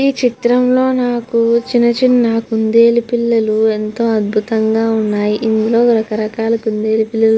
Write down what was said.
ఈ చిత్రంలో నాకు చిన్నచిన్న కుందేలు పిల్లలు ఎంతో అద్భుతంగా ఉన్నాయి. ఇందులో రకరకాల కుందేలు పిల్లలు --